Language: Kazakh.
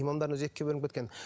имамдардың өзі екіге бөлініп кеткен